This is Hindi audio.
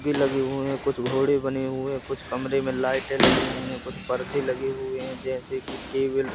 लगे हुए हैं कुछ घोड़े बने हुए कुछ कमरे में लाइटें लगी हुई हैं कुछ पर्दे लगे हुए हैं जैसे कि टेबल ।